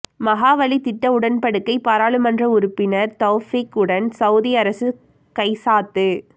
மஹாவலி திட்ட உடன்படிக்கை பாராளுமன்ற உறுப்பினர் தௌபீக் உடன் சவூதி அரசு கைச்சாத்து